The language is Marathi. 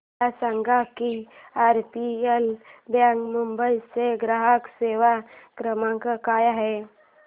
मला सांगा की आरबीएल बँक मुंबई चा ग्राहक सेवा क्रमांक काय आहे